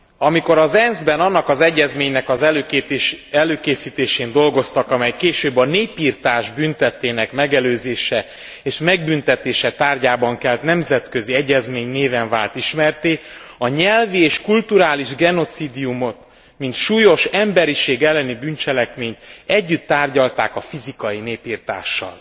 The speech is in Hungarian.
Amikor az ENSZ ben annak az egyezménynek az előkészítésén dolgoztak, amely később a népirtás bűntettének megelőzése és megbüntetése tárgyában kelt nemzetközi egyezmény néven vált ismertté, a nyelvi és kulturális genocídiumot mint súlyos emberiség elleni bűncselekményt, együtt tárgyalták a fizikai népirtással.